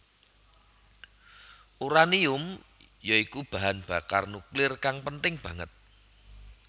Uranium ya iku bahan bakar nuklir kang penting banget